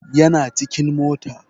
Yana cikin mota